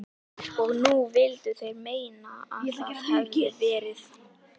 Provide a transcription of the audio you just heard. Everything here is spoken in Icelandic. Og nú vildu þeir meina að það hefðu verið